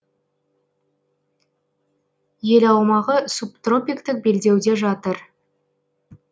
ел аумағы субтропиктік белдеуде жатыр